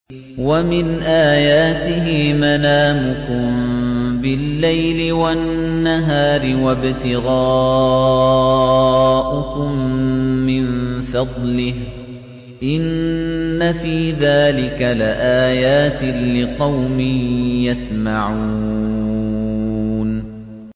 وَمِنْ آيَاتِهِ مَنَامُكُم بِاللَّيْلِ وَالنَّهَارِ وَابْتِغَاؤُكُم مِّن فَضْلِهِ ۚ إِنَّ فِي ذَٰلِكَ لَآيَاتٍ لِّقَوْمٍ يَسْمَعُونَ